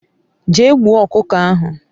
Jee gbuo okuko ahu